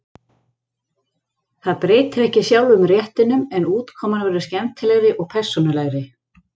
Það breytir ekki sjálfum réttinum, en útkoman verður skemmtilegri og persónulegri.